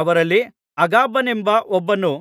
ಅವರಲ್ಲಿ ಅಗಬನೆಂಬ ಒಬ್ಬನು